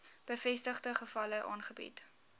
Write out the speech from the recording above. bevestigde gevalle aangebied